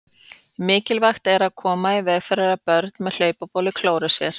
Mikilvægt er að koma í veg fyrir að börn með hlaupabólu klóri sér.